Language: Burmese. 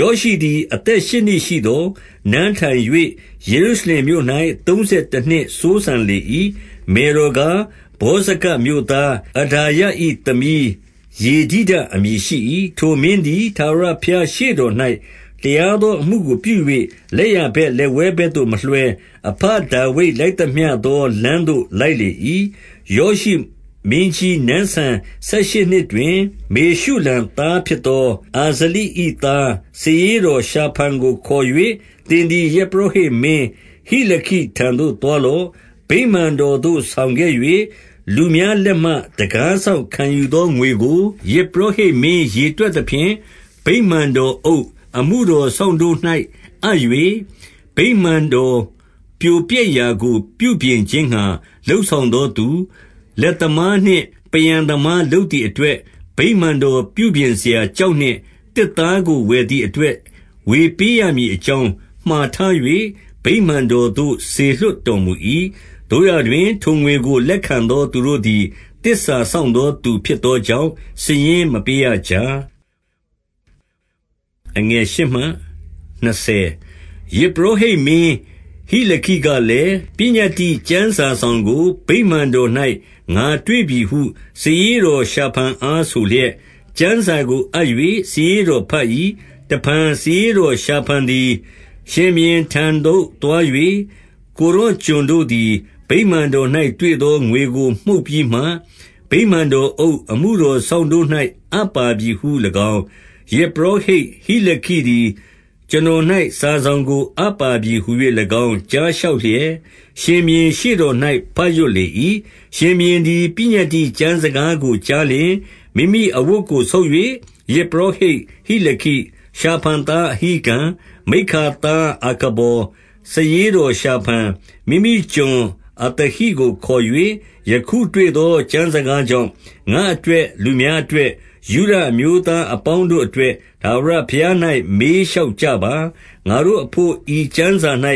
ယောရှိသည် အသက်ရှစ်နှစ်ရှိသော် နန်းထိုင်၍ ယေရုရှလင်မြို့၌ သုံးဆယ်တနှစ်စိုးစံလေ၏။ မယ်တော် ကား၊ ဗောဇကတ်မြို့သားအဒါယ၏သမီး ယေဒိဒ အမည်ရှိ၏။ 2 ထိုမင်းသည် ထာဝရဘုရားရှေ့တော်၌ တရား သောအမှုကိုပြု၍ လက်ျာဘက်လက်ဝဲဘက်သို့မလွှဲ၊ အဘဒါဝိဒ်လိုက်သမျှသောလမ်းသို့ လိုက်လေ၏။ 3 ယောရှိမင်းကြီးနန်းစံဆယ်ရှစ်နှစ်တွင်၊ မေရှုလံ သားဖြစ်သော အာဇလိ၏သား စာရေးတော်ရှာဖန်ကို ခေါ်၍ သင်သည် ယဇ်ပုရောဟိတ်မင်း ဟိလခိထံသို့ သွားလော့။ 4 ဗိမာန်တော်သို့ဆောင်ခဲ့၍ လူများလက်မှ တံခါး စောင့်ခံယူသော ငွေကို ယဇ်ပုရောဟိတ်မင်း ရေတွက် သဖြင့်၊ 5 ဗိမာန်တော်အုပ်၊ အမှုတော်စောင့်တို့၌အပ်၍၊ ဗိမာန်တော်ပြိုပျက်ရာကို ပြုပြင်ခြင်းငှါ လုပ်ဆောင်သော သူ၊ 6 လက်သမားနှင့် ပန်းရန်သမားလုပ်သည် အတွက်၊ ဗိမာန်တော်ပြုပြင်စရာ ကျောက်နှင့် သစ်သားကို ဝယ်သည်အတွက် ဝေပေးရမည်အကြောင်း မှာထား၍ ဗိမာန်တော်သို့ စေလွှတ်တော်မူ၏။ 7 သို့ရာတွင် ထိုငွေကို လက်ခံသော သူတို့သည် သစ္စာစောင့်သော သူဖြစ်သောကြောင့် စာရင်းမပေး ရကြ။ 8 ယဇ်ပုရောဟိတ်မင်းဟိလခိကလည်း၊ ပညတ္တိ ကျမ်းစာစောင်ကို ဗိမာန်တော်၌ ငါတွေ့ပြီဟု စာရေး တော်ရှာဖန်အားဆိုလျက်၊ ကျမ်းစာကို အပ်၍ စာရေး တော်ဘတ်၏။ 9 တဖန်စာရေးတော်ရှာဖန်သည် ရှင်ဘုရင်ထံသို့ သွား၍၊ ကိုယ်တော်ကျွန်တို့သည် ဗိမာန်တော်၌ တွေ့သော ငွေကိုမှုတ်ပြီးမှ၊ ဗိမာန်တော်အုပ်၊ အမှုတော်စောင့်တို့၌ အပ်ပါပြီဟူ၍၎င်း၊ 10 ယဇ်ပုရောဟိတ်ဟိလခိသည် ကျွန်တော်၌ စာစောင်ကိုအပ်ပါပြီဟူ၍၎င်း ကြားလျှောက်လျက်၊ ရှင်ဘုရင်ရှေ့တော်၌ ဘတ်ရွတ်လေ၏။ 11 ရှင်ဘုရင်သည် ပညတ္တိကျမ်းစကားကိုကြားလျှင်၊ မိမိအဝတ်ကို ဆုတ်၍၊ 12 ယဇ်ပုရောဟိတ်ဟိလခိ၊ ရှာဖန်သားအဟိကံ၊ မိက္ခာသား အာခဗော်၊ စာရေးတော်ရှာဖန်၊ မိမိကျွန် အသဟိကိုခေါ်၍၊ 13 ယခုတွေ့သော ကျမ်းစကားကြောင့် ငါ့အတွက်၊ လူများအတွက်၊ ယုဒအမျိုးသားအပေါင်းတို့အတွက် ထာဝရဘုရား၌ မေးလျှောက်ကြပါ။ ငါတို့အဘို့ ဤကျမ်း စာ၌